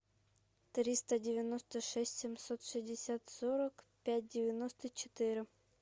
триста девяносто шесть семьсот шестьдесят сорок пять девяносто четыре